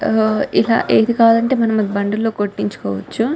ఆఅఆ ఏది కావాలంటే అది మనం అంటే మనం బండి లో కొటించుకోవచ్చు .